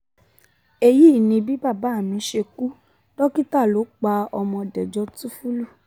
èyí ni bí bàbá mi ṣe kú dókítà lọ pa á ọmọ dẹjọ́ túnfúlù